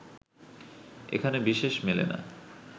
এখানে বিশেষ মেলে না